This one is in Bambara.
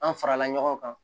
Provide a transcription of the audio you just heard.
An farala ɲɔgɔn kan